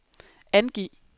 angiv